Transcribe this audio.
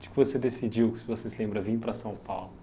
Tipo, que você decidiu, que, se você se lembra, vir para São Paulo?